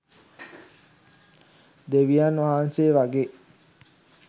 දෙවියන් වහන්සේ වගේ.